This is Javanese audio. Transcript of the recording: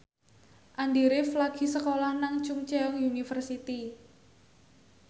Andy rif lagi sekolah nang Chungceong University